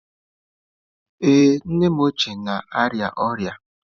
Ee, nnem ochie na-arịa ọrịa.